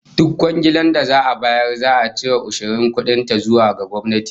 Duk kwangiilar da za'a bayar za'a cire ushirin kudin ta zuwa ga gwamnati